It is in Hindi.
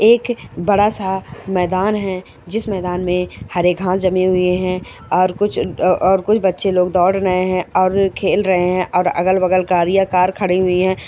एक बडा सा मैदान है जिस मैदान में हरे घास जमा हुए है और कुछ बच्चे लोग दौड़ रहे है और खेल रहे है अगल बगल कार ही कार खड़ी हुई है।